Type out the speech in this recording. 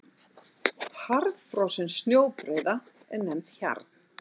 Harðfrosin snjóbreiða er nefnd hjarn.